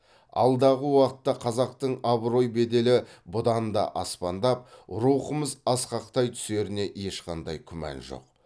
алдағы уақытта қазақтың абырой беделі бұдан да аспандап рухымыз асқақтай түсеріне ешқандай күмән жоқ